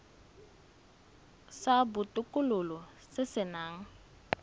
sa botokololo se se nang